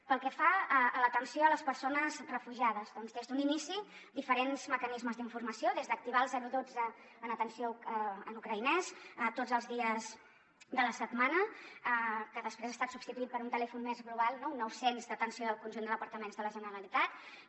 pel que fa a l’atenció a les persones refugiades doncs des d’un inici diferents mecanismes d’informació des d’activar el dotze en atenció en ucraïnès tots els dies de la setmana que després ha estat substituït per un telèfon més global un nou cents d’atenció del conjunt de departaments de la generalitat